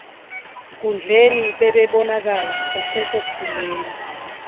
nkundleni bebebonakala kwasekukhuleni